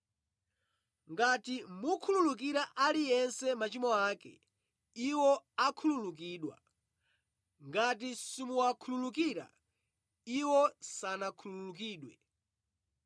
Ngati mukhululukira aliyense machimo ake, iwo akhululukidwa; ngati simuwakhululukira, iwo sanakhululukidwe.”